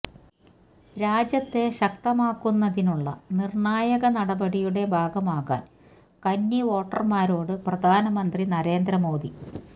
രാജ്യത്തെ ശക്തമാക്കുന്നതിനുള്ള നിര്ണായക നടപടിയുടെ ഭാഗമാകാന് കന്നി വോട്ടര്ന്മാരോട് പ്രധാനമന്ത്രി നരേന്ദ്ര മോദി